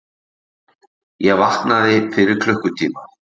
Ég vaknaði fyrir klukkutíma.